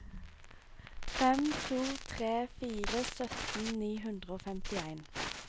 fem to tre fire sytten ni hundre og femtien